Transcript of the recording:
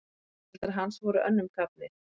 Foreldrar hans voru önnum kafnir.